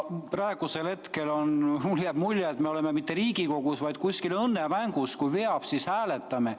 Praegu jääb mulle mulje, et me ei ole Riigikogus, vaid mingis õnnemängus – kui veab, siis hääletame.